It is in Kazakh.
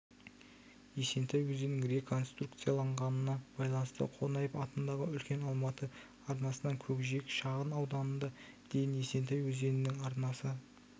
есентай өзенінің реконструкцияланғанына байланысты қонаев атындағы үлкен алматы арнасынан көкжиек шағын ауданына дейін есентай өзенінің арнасы